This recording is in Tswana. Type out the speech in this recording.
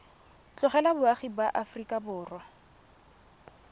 tlogela boagi ba aforika borwa